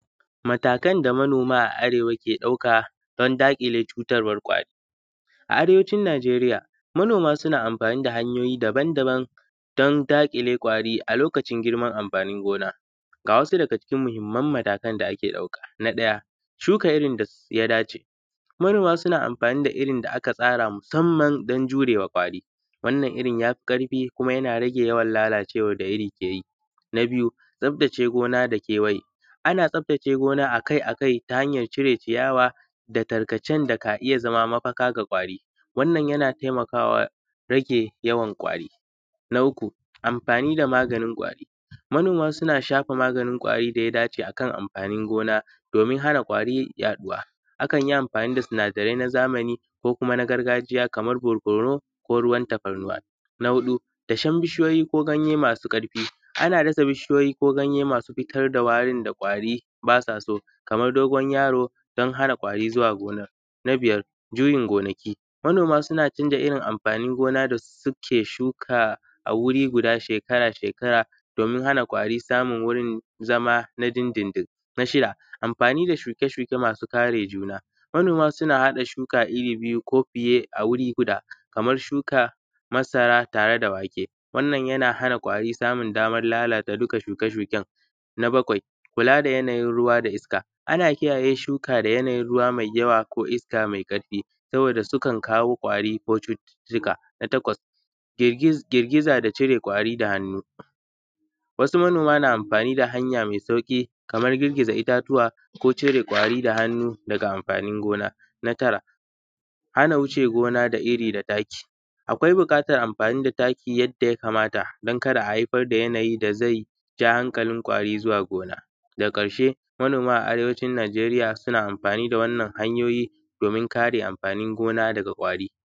Matakan da manoma a Arewa ka ɗauka don dakile cutan ƙwari, a Arewacin Nijeriya manoma suna amfani da hanyoyi daban-daban don dakile ƙwari a lokacin girman amfanin gona, ga wasu daga cikin muhimman matakan da ake ɗauka, na ɗaya shuka irin da ya dace, manoma suna amfani da irin da aka tsara musamman don jurewa ƙwari wannan irin yafi karfi kuma yana rage yawan lalacewar da iri ke yi, na biyu tsaftace gona da kewaya, ana tsaftace gona akai-akai ta hanyar cire ciyawa da tarkacen ka iya zama mafaka ga ƙwari, wannan yana taimakawa rage ƙwari, na uku amfani da maganin ƙwari, manoma suna shafa maganin ƙwari da ya dace akan amfanin gona domin hana ƙwari yaɗuwa, akan yi amfani da sinadarai na zamani ko kuma na gargajiya kamar barkonu ko ruwan tafarnuwa, na huɗu datsen bishiyoyi ko ganye masu karfi, ana datsa bishiyoyi ko ganye masu fitar da warin da ƙwari basa so kamar, dogon yaro don hana ƙwari zuwa gonar, na biyar juyin gonaki, manoma suna canza amfanin gona da suke shuka a guri guda shekara-shekara domin hana ƙwari samun wurin zama na din-din-din, na shida amfani da shuke-shuke masu kare juna, manoma suna haɗa shuka iri biyu a guri guda kamar shuka masara tare da wake, wannan yana hana ƙwari samun damar lalata dukka shuke-shuken, na baƙwai kula da yanayin ruwa da iska, ana kiyaye shuka da yanayin ruwa mai yawa ko iska mai karfi saboda sukan kawo ƙwari ko cututtuka, na taƙwas girgiza da cire ƙwari da hannu, wasu manoma na amfani da hanya mai sauki kamar girgiza itatuwa ko cire ƙwari da hannu daga amfanin gona, na tara hana wuce gona da iri da taki, akwai bukatar amfani da taki yadda ya kamata don kada a haifar da yanayi da zai ja hankalin ƙwari zuwa gona, daga karshe manoma a Arewacin Nijeriya suna amfani da wannan hanyoyi domin kare amfanin gona daga ƙwari.